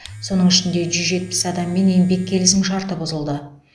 соның ішінде жүз жетпіс адаммен еңбек келісімшарты бұзылды